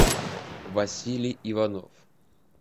василий иванов